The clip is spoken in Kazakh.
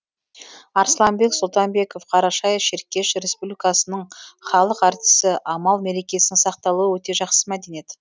арсланбек сұлтанбеков қарашай шеркеш республикасының халық артисі амал мерекесінің сақталуы өте жақсы мәдениет